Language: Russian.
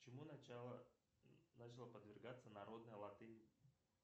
чему начала подвергаться народная латынь